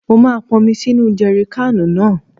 Mo máa ponmi sínu jèrikáànù náà.